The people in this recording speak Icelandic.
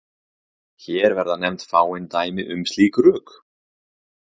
Hér verða nefnd fáein dæmi um slík rök.